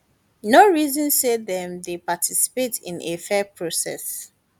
no reason say dem dey participate in a fair process